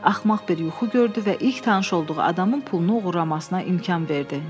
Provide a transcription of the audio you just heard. Axmaq bir yuxu gördü və ilk tanış olduğu adamın pulunu oğurlamasına imkan verdi.